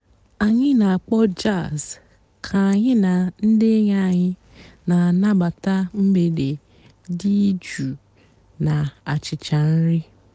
ányị́ nà-àkpọ́ jàzz kà ànyị́ nà ndị́ ènyí ànyị́ nà-ànàbátá m̀gbèdé dị́ jụ́ụ́ nà-àchichá nrí.